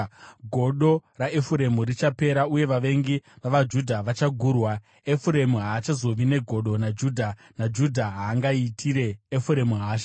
Godo raEfuremu richapera uye vavengi vavaJudha vachagurwa; Efuremu haachazovi negodo naJudha, naJudha haangaitire Efuremu hasha.